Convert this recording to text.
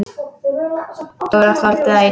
Dóra þoldi það illa.